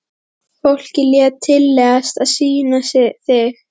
Fólkið lét tilleiðast að sýna þig.